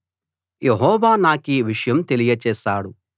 యెహోవా నాకీ విషయం తెలియచేశాడు